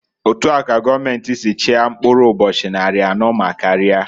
Otua ka goomenti si chia mkpụrụ ụbọchị nnarị anọọ ma karia.